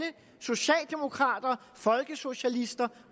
socialdemokrater folkesocialister